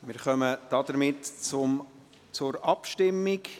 Wir kommen damit zur Abstimmung.